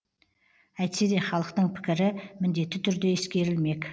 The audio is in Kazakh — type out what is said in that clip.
әйтсе де халықтың пікірі міндетті түрде ескерілмек